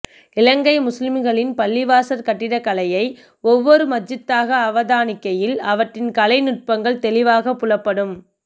இலங்கை முஸ்லிம்களின் பள்ளிவாசற் கட்டிடக்கலையை ஒவ்வொரு மஸ்ஜித்தாக அவதானிக்கையில் அவற்றின் கலை நுட்பங்கள் தெளிவாகப் புலப்படும்